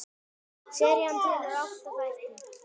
Serían telur átta þætti.